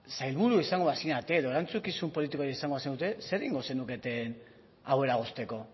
sailburu izango bazinete edo erantzukizun politikorik izango bazenute zer egingo zenukete hau eragozteko